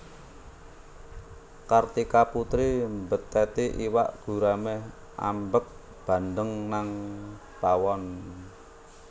Kartika Putri mbetheti iwak gurame ambek bandeng nang pawon